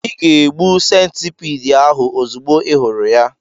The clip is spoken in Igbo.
Ị ga-egbu centipede ahụ ozugbo ị hụrụ ya.